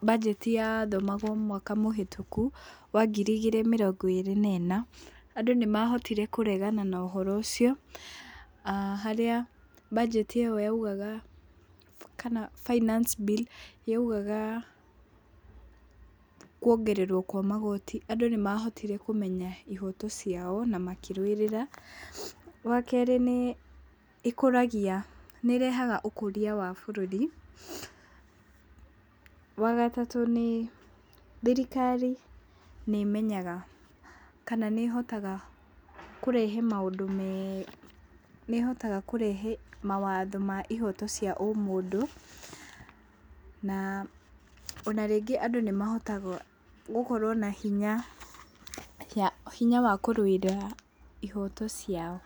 mbanjeti yathomagwo mwaka mũhĩtũku wa ngĩri igĩrĩ mĩrongo ĩrĩ na ĩna, andũ nĩmahotire kũregana nohoro ũcio, harĩa mbanjeti ĩyo yaugaga kana finance bill yaugaga kuongererwo kwa magoti, andũ nĩ mahotire kũmenya ihoto ciao na makĩrũĩrĩra. Wa kerĩ, nĩ ĩkũragia nĩ ĩrehaga ũkũria wa bũrũri. Wa gatatũ nĩ, thirikari nĩĩmenyaga kana nĩĩhotaga kũrehe mawatho ma ihoto cia ũmũndũ, na ona rĩngĩ andũ nĩ mahotaga gũkorwo na hinya wa kũrũĩrĩra ihoto ciao.